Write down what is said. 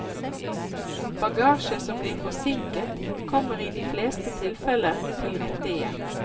Bagasje som blir forsinket kommer i de fleste tilfeller til rette igjen.